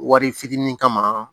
Wari fitinin kama